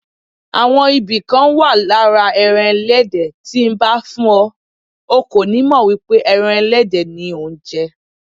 Àwọn ibì kan wà lára ẹran Ẹlẹ́dẹ̀ tí nbá fún ọ, o kò nímọ̀ wípé ẹran Ẹlẹ́dẹ̀ ni ò ńjẹ.